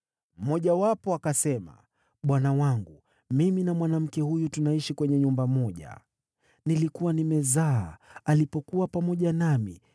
Mmojawapo akasema, “Bwana wangu, mimi na mwanamke huyu tunaishi kwenye nyumba moja. Nilikuwa nimezaa alipokuwa pamoja nami.